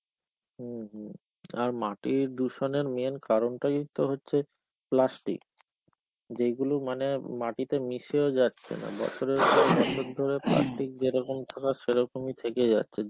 হম হম, আর মাটির দূষণের main কারনটাই তো হচ্ছে plastic. যেইগুলো মানে মাটিতে মিশেও যাচ্ছেনা noise যেরকম থাকার সেরকমই থেকে যাচ্ছে